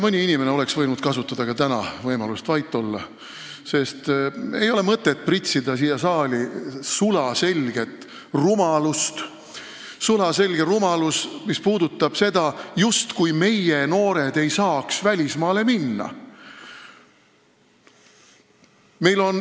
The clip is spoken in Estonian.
Mõni inimene oleks võinud kasutada ka täna võimalust vait olla, sest ei ole mõtet pritsida siia saali sulaselget rumalust, justkui ei saaks meie noored välismaale minna.